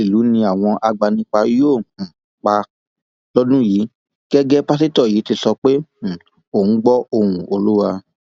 ọpọlọpọ olóṣèlú ni àwọn agbanipa yóò um pa lọdún yìí gẹgẹ pásítọ yìí ti sọ pé um òun gbọ ohùn olúwa